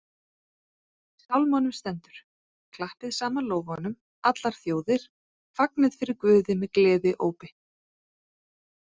Í Sálmunum stendur: Klappið saman lófum, allar þjóðir, fagnið fyrir Guði með gleðiópi